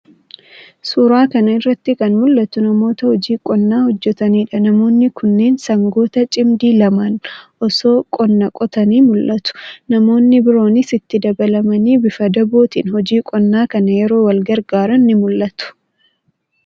Suuraa kana irratti kan mul'atu namoota hojii qonnaa hojjetaniidha. Namoonni kunneen sangoota cimdii lamaan osoo qonnaa qotanii mul'atu. Namoonni biroonis itti dabalamanii bifa daadootiin hojii qonnaa kana yeroo wal gargaaran ni mul'ata.